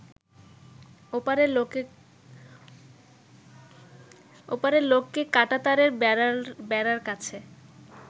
ওপারের লোককে কাঁটাতারের বেড়ার কাছে